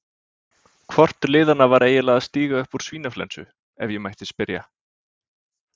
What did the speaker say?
Hvort liðanna var eiginlega að stíga upp úr svínaflensu, ef ég mætti spyrja?